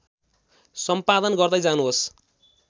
सम्पादन गर्दै जानुहोस्